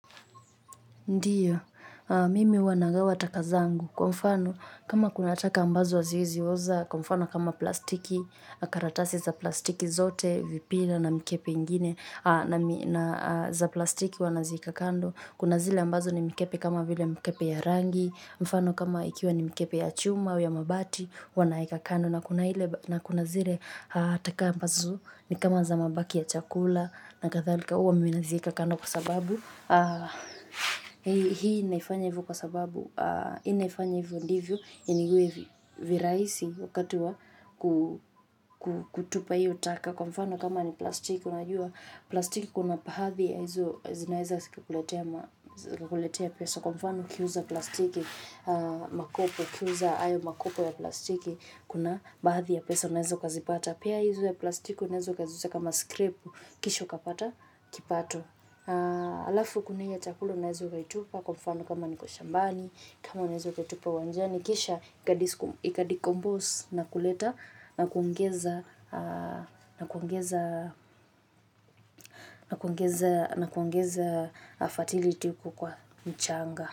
Ndiyo, mimi huwa nagawa taka zangu. Kwa mfano, kama kuna taka ambazo haziwezi oza, kwa mfano kama plastiki, karatasi za plastiki zote, vipira na mikebe ingine, na za plastiki huwa naziweka kando. Kuna zile ambazo ni mikebe kama vile mikebe ya rangi, mfano kama ikiwa ni mikebe ya chuma au ya mabati, huwa naeka kando. Na kuna zile taka ambazo ni kama za mabaki ya chakula na kadhalika huwa mi naziweka kando kwa sababu hii naifanya hivyo kwa sababu hii naifanya hivyo ndivyo iwe virahisi wakati wa kutupa hio taka kwa mfano kama ni plastiki k unajua plastiki kuna bahadhi ya hizo zinaeza zika kuletea pesa kwa mfano ukiuza plastiki makopo ukiuza ayo makopo ya plastiki kuna baadhi ya pesa unaweza ukazipata pia hizo za plastiki unaweza ukaziita kama skrepu kisha ukapata kipato alafu kuni hiyo chakula unaweza ukaitupa kwa mfano kama niko shambani kama naweza kaitupa uwanjani kisha ikadecompose na kuleta na kuongeza na kuongeza na kuongeza na kuongeza fertility huko kwa mchanga.